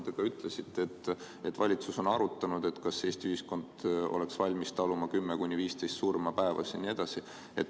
Te ütlesite, et valitsus on arutanud, kas Eesti ühiskond oleks valmis taluma 10–15 koroonasurma päevas jne.